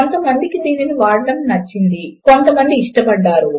కొంతమందికి దీనిని వాడడము నచ్చుతుంది కొంతమంది ఇష్టపడతారు